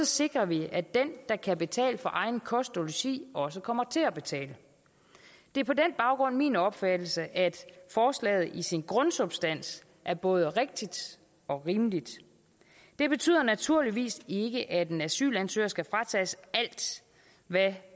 sikrer vi at den der kan betale for egen kost og logi også kommer til at betale det er på den baggrund min opfattelse at forslaget i sin grundsubstans er både rigtigt og rimeligt det betyder naturligvis ikke at en asylansøger skal fratages alt hvad